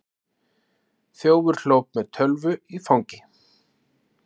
Þjófur hljóp með tölvu í fangi